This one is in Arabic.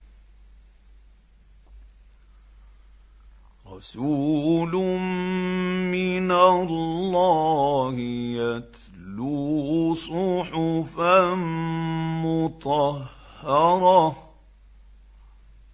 رَسُولٌ مِّنَ اللَّهِ يَتْلُو صُحُفًا مُّطَهَّرَةً